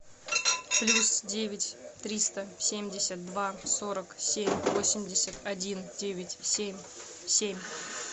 плюс девять триста семьдесят два сорок семь восемьдесят один девять семь семь